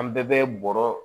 An bɛɛ bɛ bɔrɔ